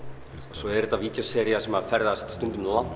svo er þetta vídeósería sem ferðast stundum langt